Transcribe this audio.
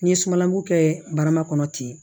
N ye sumalanko kɛ barama kɔnɔ ten